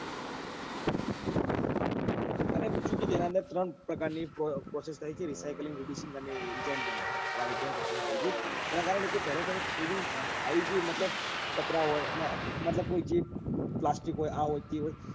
અને બીજું કે તેના અંદર ત્રણ પ્રકાર ની prosess થાય છે recycling એના કારણે કે પેલા તમે મતલબ પતરા હોય તમે મતલબ કોઈ ચીજ પ્લાસ્ટિક હોય આ હોય તે હોય